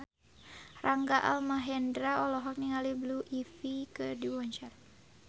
Rangga Almahendra olohok ningali Blue Ivy keur diwawancara